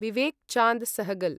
Vivek Chand Sehgal